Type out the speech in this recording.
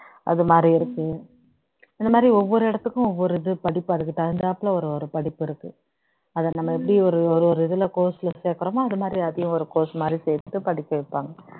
அதுமாதிரி இருக்கு இந்த மாதிரி ஒவ்வொரு இடத்துக்கும் ஒவ்வொரு படிப்பு அதுக்கு தகுந்தாப்ல ஒரு படிப்பு இருக்கு அதை நம்ம எப்படி ஒரு ஒரு இதுல course ல சேர்க்கிறோமோ அதுமாதிரி அதையும் ஒரு course மாதிரி சேர்த்து படிக்க வைப்பாங்க